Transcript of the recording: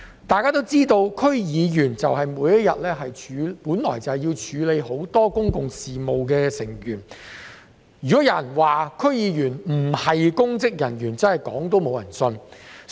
大家都知道，區議員每天都要處理許多公共事務，如果有人說區議員不是公職人員，真的沒有人會相信。